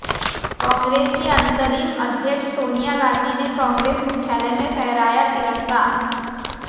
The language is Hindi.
कांग्रेस की अंतरिम अध्यक्ष सोनिया गांधी ने कांग्रेस मुख्यालय में फहराया तिरंगा